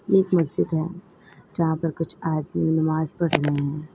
ये एक मस्जिद है जहां पर कुछ आदमी नमाज पढ़ रहे हैं।